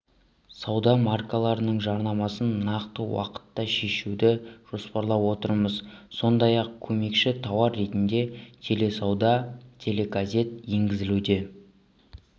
сауда маркаларының жарнамасын нақты уақытта шешуды жоспарлап отырмыз сондай-ақ көмекші тауар ретінде теле-сауда теле-газет енгізілуде